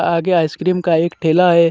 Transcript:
आगे आइसक्रीम का एक ठेला हे.